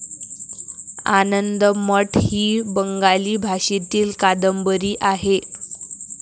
आनंदमठ ही बंगाली भाषेतील कादंबरी आहे.